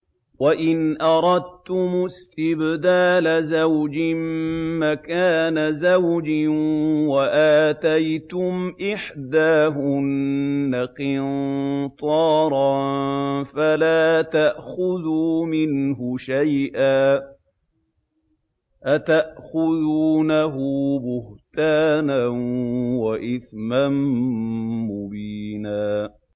وَإِنْ أَرَدتُّمُ اسْتِبْدَالَ زَوْجٍ مَّكَانَ زَوْجٍ وَآتَيْتُمْ إِحْدَاهُنَّ قِنطَارًا فَلَا تَأْخُذُوا مِنْهُ شَيْئًا ۚ أَتَأْخُذُونَهُ بُهْتَانًا وَإِثْمًا مُّبِينًا